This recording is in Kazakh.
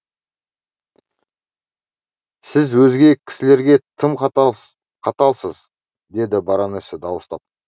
сіз өзге кісілерге тым қаталсыз деді баронесса дауыстап